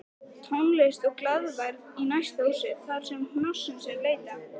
Tónlist og glaðværð í næsta húsi þarsem hnossins er leitað